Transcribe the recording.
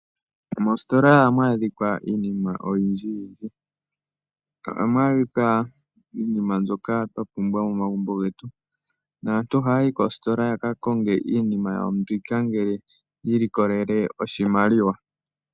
Moositola ohamu adhika iinima oyindji. Ohamu adhika iinima mbyoka twa pumbwa momagumbo getu. Aantu ohaya yi koositola yaka konge iinima yawo mbika ngele yiilikolele oshimaliwa.